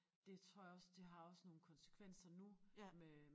Det tror jeg også det har også nogle konsekvenser nu med